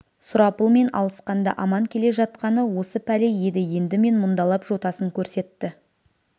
сұрапылмен алысқанда аман келе жатқаны осы пәле еді енді мен мұндалап жотасын көрсетті